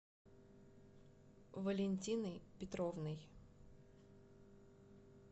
валентиной петровной